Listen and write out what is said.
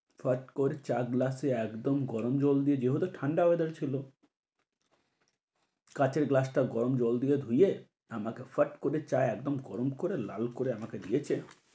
ফট কর চা গ্লাসে একদম গরম জল দিয়ে, যেহেতু ঠান্ডা weather ছিল কাঁচের গ্লাসটা গরম জল দিয়ে ধুয়ে, আমাকে ফট করে চা একদম গরম করে লাল করে আমাকে দিয়েছে।